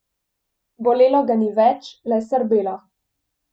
Bolelo ga ni več, le srbelo.